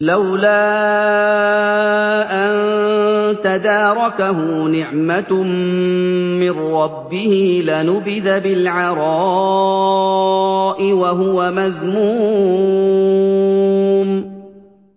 لَّوْلَا أَن تَدَارَكَهُ نِعْمَةٌ مِّن رَّبِّهِ لَنُبِذَ بِالْعَرَاءِ وَهُوَ مَذْمُومٌ